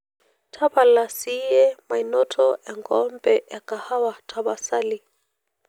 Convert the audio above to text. tapala siye mainoto enkombee ekahawa tapasali